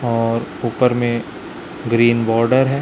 और ऊपर में ग्रीन बॉर्डर हैं।